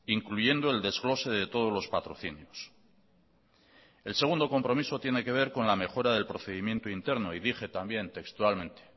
incluyendo el desglose de todos los patrocinios el segundo compromiso tiene que ver con la mejora del procedimiento interno y dije también textualmente